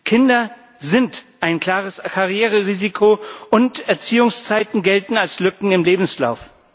Kinder sind ein klares Karriererisiko, und Erziehungszeiten gelten als Lücken im Lebenslauf.